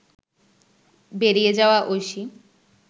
বেরিয়ে যাওয়া ঐশী